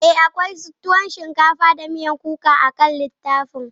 Ee, akwai tuwon shinkafa da miyan kuka akan littafin.